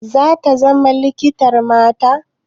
Zata zama likitar mata?